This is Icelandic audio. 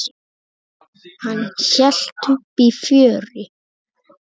Hann hélt uppi fjöri.